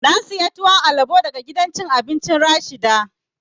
Na saya tuwon alabo daga gidan cin abincin Rashida